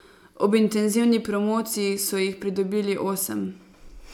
Ob intenzivni promociji so jih pridobili osem.